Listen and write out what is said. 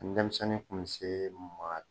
Denmisɛnnin kun bɛ se maa